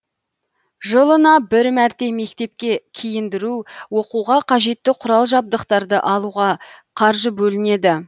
жылына бір мәрте мектепке киіндіру оқуға қажетті құрал жабдықтарды алуға қаржы бөлінеді